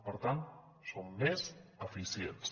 per tant són més eficients